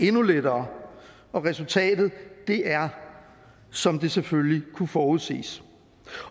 endnu lettere og resultatet er som det selvfølgelig kunne forudses